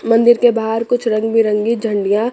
मंदिर के बाहर कुछ रंग बिरंगी झंडिया --